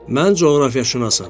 Mən coğrafiyaşünasam.